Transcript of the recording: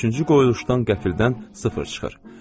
Üçüncü qoyuluşdan qəfildən sıfır çıxır.